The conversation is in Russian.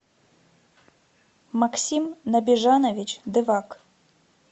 максим набежанович девак